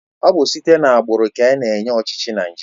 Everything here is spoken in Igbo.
Ọ bụ site na agbụrụ ka ana-enye ọchịchị na Naịjirịa